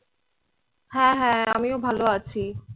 হ্যাঁ হ্যাঁ আমিও ভালো আছি।